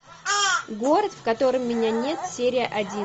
город в котором меня нет серия один